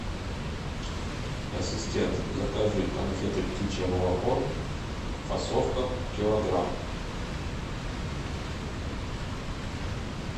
ассистент закажи конфеты птичье молоко фасовка килограмм